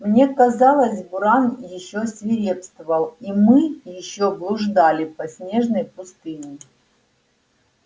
мне казалось буран ещё свирепствовал и мы ещё блуждали по снежной пустыне